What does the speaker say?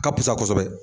Ka fisa kosɛbɛ